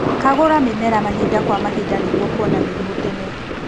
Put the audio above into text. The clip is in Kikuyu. Kagũra mĩmera mahinda kwa mahinda nĩguo kuona mĩrimũ tene.